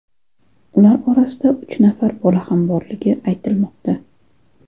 Ular orasida uch nafar bola ham borligi aytilmoqda.